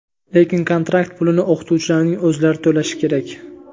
lekin kontrakt pulini o‘qituvchilarning o‘zlari to‘lashi kerak.